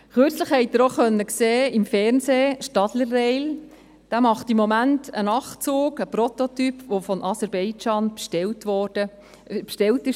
Kürzlich konnte man im Fernsehen sehen, dass Stadler Rail im Moment einen Prototypen eines Nachtzuges macht, der von Aserbaidschan bestellt worden ist.